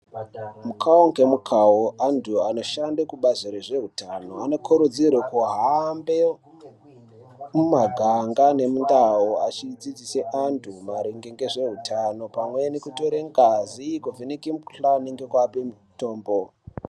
Mukavo ngemukavo antu anoshande kubazi rezvehutano anokurudzirwe kuhambe mumaganga nemundau. Achidzidzise antu maringe ngezveutano pamweni kutore ngazi, kuvheneke mikuhlani ngekuvape mutombo.